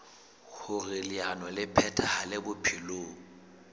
hoer leano le phethahale bophelong